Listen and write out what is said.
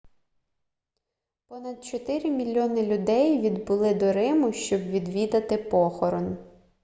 понад чотири мільйони людей відбули до риму щоб відвідати похорон